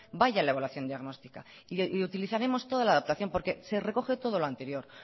vaya la evaluación diagnóstica y utilizaremos toda la adaptación porque se recoge todo lo anterior